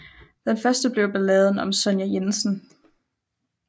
Den første blev Balladen om Sonja Jensen